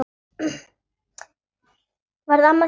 Varð amma þín ekki glöð?